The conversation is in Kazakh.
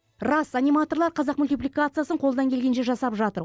рас аниматорлар қазақ мультипликациясын қолдан келгенше жасап жатыр